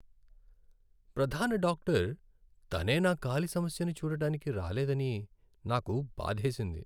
ప్రధాన డాక్టర్ తనే నా కాలి సమస్యని చూడటానికి రాలేదని నాకు బాధేసింది.